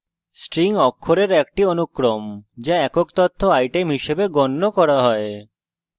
string অক্ষরের একটি অনুক্রম যা একক তথ্য item হিসাবে গণ্য করা হয়